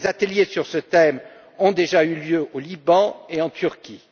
Des ateliers sur ce thème ont déjà eu lieu au Liban et en Turquie.